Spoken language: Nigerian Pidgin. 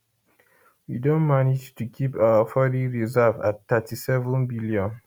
we don manage to keep our foreign reserve at 37 billion